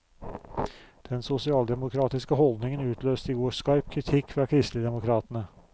Den sosialdemokratiske holdningen utløste i går skarp kritikk fra kristeligdemokratene.